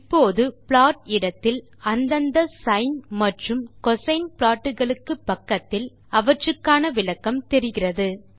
இப்போது ப்ளாட் இடத்தில் அந்தந்த சைன் மற்றும் கோசின் ப்ளாட் களுக்கு பக்கத்தில் அவற்றுக்கான விளக்கம் தெரிகிறது